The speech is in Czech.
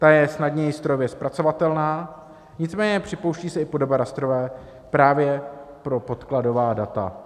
Ta je snadněji strojově zpracovatelná, nicméně připouští se i podoba rastrová právě pro podkladová data.